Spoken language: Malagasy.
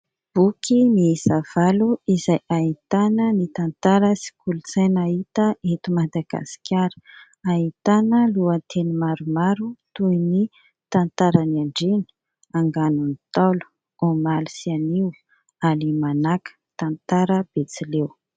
Boky miisa valo izay ahitana ny tantara sy kolotsaina hita eto Madagaskara. Ahitana lohateny maromaro toy ny " Tantara ny andriana "," Anganon'ny Ntaolo "," Omaly sy anio "," Alimanaka "," Tantara betsileo ".